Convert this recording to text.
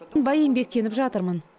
тынбай еңбектеніп жатырмын